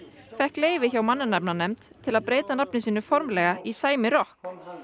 fékk leyfi hjá mannanafnanefnd til að breyta nafni sínu formlega í sæmi rokk